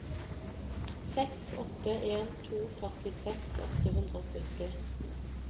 seks åtte en to førtiseks åtte hundre og sytti